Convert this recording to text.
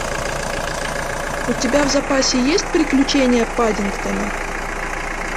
у тебя в запасе есть приключения паддингтона